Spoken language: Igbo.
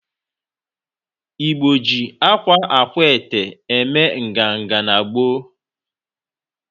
Igbo ji akwa akwaete eme nganga n'gboo.